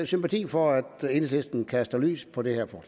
sympati for at enhedslisten kaster lys på det her